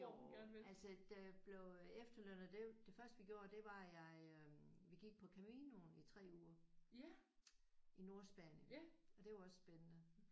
Jo altså da jeg blev efterlønner det er jo det første vi gjorde det var at jeg øh vi gik på Caminonen i 3 uger i Nordspanien og det er jo også spændende